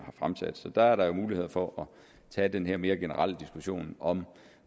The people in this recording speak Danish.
har fremsat så der er der jo mulighed for at tage den her mere generelle diskussion om